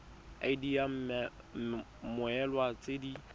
id ya mmoelwa tse di